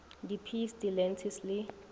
di peas di lentils le